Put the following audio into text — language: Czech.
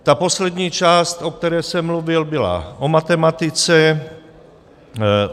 Ta poslední část, o které jsem mluvil, byla o matematice.